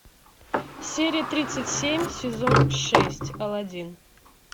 серия тридцать семь сезон шесть алладин